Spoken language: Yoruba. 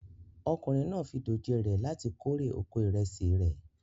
Ọkùnrin náà fi dòjé re láti kórè oko ìrẹsì rẹ̀